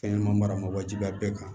Fɛnɲɛnɛma maramajiya bɛɛ kan